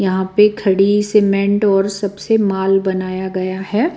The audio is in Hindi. यहां पे खड़ी सीमेंट और सबसे माल बनाया गया है।